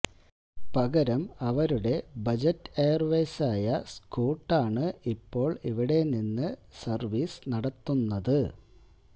പകരം അവരുടെ ബജറ്റ് എയര്വേയ്സായ സ്കൂട്ടാണ് ഇപ്പോള് ഇവടെനിന്ന് സര്വീസ് നടത്തുന്നത്